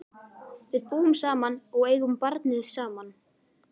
Við búum saman og eigum barnið saman.